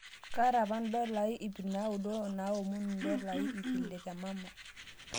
Kaata apa dola 900 naomonu dola 600 te mama